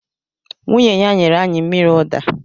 Nwunye ya nyere anyị mmiri ụda